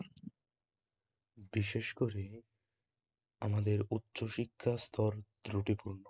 বিশেষ করে আমাদের উচ্চশিক্ষার স্তর ত্রুটিপূর্ণ